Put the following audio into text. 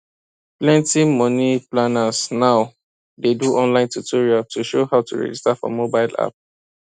plenty money planners now dey do online tutorial to show how to register for mobile app